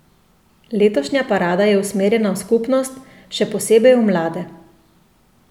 Letošnja parada je usmerjena v skupnost, še posebej v mlade.